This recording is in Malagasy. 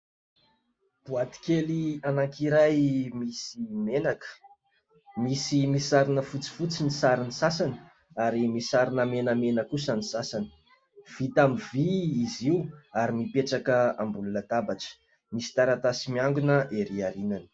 Boaty kely anankiray misy menaka, misy misarona fotsifotsy ny saron'ny sasany, ary misarona menamena kosa ny sasany. Vita amin'ny vy izy io, ary mipetraka ambony latabatra. Misy taratasy miangona ery aorianany.